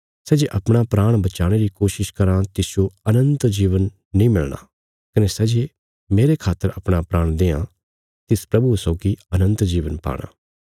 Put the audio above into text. सै जे माहणु अपणा प्राण बचाणे री कोशिश कराँ तिसजो अनन्त जीवन नीं मिलणा कने सै जे मेरे खातर अपणा प्राण देआं तिस प्रभुये सौगी अनन्त जीवन पाणा